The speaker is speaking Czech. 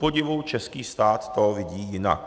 Kupodivu český stát to vidí jinak.